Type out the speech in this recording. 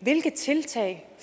hvilke tiltag